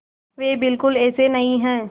वे बिल्कुल ऐसे नहीं हैं